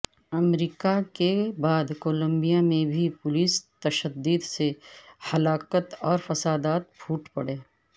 امریکہ کے بعد کولمبیا میں بھی پولیس تشدد سے ہلاکت اور فسادات پھوٹ پڑے